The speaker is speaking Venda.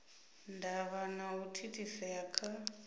ndavha na u thithisea kha